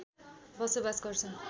बसोवास गर्छन्